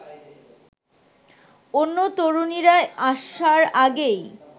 অন্য তরুণীরা আসার আগেই